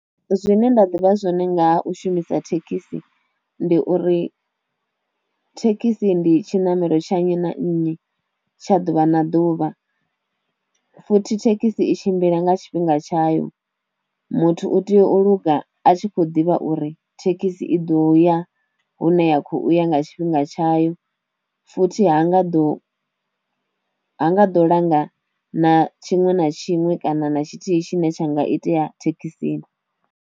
Zwine nda ḓivha zwone ngaha u shumisa thekhisi, ndi uri thekhisi ndi tshinamelo tsha nnyi na nnyi tsha ḓuvha na ḓuvha, futhi thekhisi i tshimbila nga tshifhinga tshayo, muthu u tea u luga a tshi kho ḓivha uri thekhisi i ḓo ya hune ya khou ya nga tshifhinga tshayo, futhi ha nga ḓo ha nga ḓo langa na tshiṅwe na tshiṅwe kana na tshithihi tshine tsha nga itea thekhisini.